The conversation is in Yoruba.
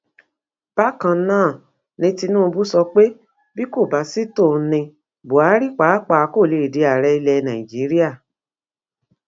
bákan náà ni tinubu sọ pé bí kò bá sì tòun ní buhari pàápàá kó lè di ààrẹ ilẹ nàíjíríà